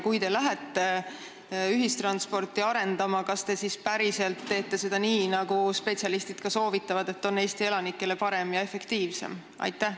Kui te lähete ühistransporti arendama, kas te siis päriselt teete seda nii, nagu spetsialistide soovitusel on Eesti elanikele parem ja efektiivsem?